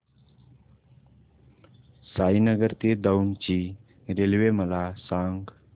साईनगर ते दौंड ची रेल्वे मला सांग